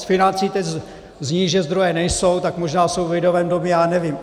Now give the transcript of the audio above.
Z financí teď zní, že zdroje nejsou, tak možná jsou v Lidovém domě, já nevím.